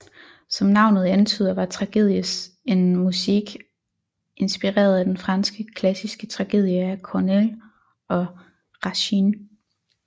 Som navnet antyder var tragedies en musique inspireret af den franske klassiske tragedie af Corneille og Racine